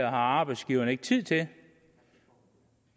arbejdsgiverne ikke tid til